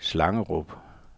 Slangerup